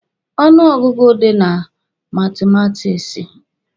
Ọnụ ọgụgụ dị na matumatiksi.